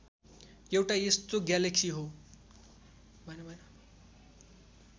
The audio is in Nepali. एउटा यस्तो ग्यालेक्सी हो